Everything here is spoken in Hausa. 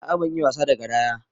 A'a ban iya wasa da garaya.